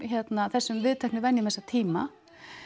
þessum viðteknu venjum þessa tíma